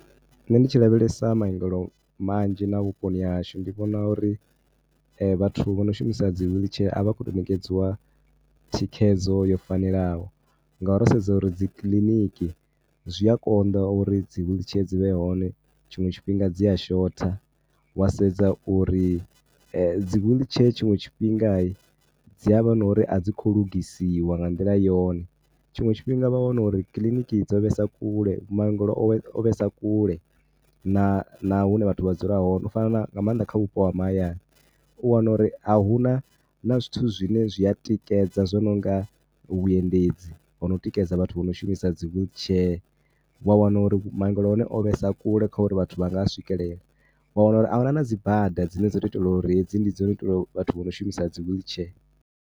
Nṋe ndi tshi lavhelesa maungelo manzhi na vhuponi ha hashu ndi vhona uri vhathu vho no shumisa dzi wheelchair a vha khou tou ṋekedziwa thikhedzo yo fanelaho ngauri ro sedza uri dzi kiliniki zwi a konḓa uri dzi wheelchair dzi vhe hone. Tshiṅwe tshifhinga dzi a shotha wa sedza uri dzi wheelchair tshiṅwe tshifhinga, dzi a vha na uri a dzi khou lugisiwa nga nḓila yone. Tshiṅwe tshifhinga wa wana uri kiliniki dzo vhesa kule, maungelo o vhesa kule. Na na hune vhathu vha dzula hone, u fana na, nga maanḓa vha vhupo ha mahayani. U wana uri a hu na na zwithu zwine zwi a tikedza zwo no nga vhuendedzi ho no tikedza vhathu vho no shumisa dzi wheelchair. Wa wana uri maungelo o vhesa kule kha uri vhathu vha nga a swikelela. Wa wana na uri a hu na na dzi bada dzine dzo tou itelwa uri hedzi ndi dzo tou itelwa vhathu vho no shumisa wheelchair.